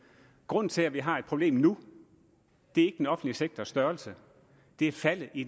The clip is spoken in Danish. grunden til at vi har et problem nu er ikke den offentlige sektors størrelse det er faldet i